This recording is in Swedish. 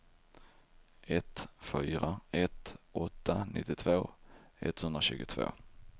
ett fyra ett åtta nittiotvå etthundratjugotvå